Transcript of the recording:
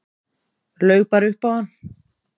Laug bara upp á hann.